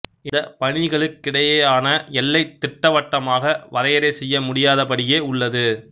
இந்தப் பணிகளுக்கிடையேயான எல்லை திட்டவட்டமாக வரையறை செய்ய முடியாதபடியே உள்ளது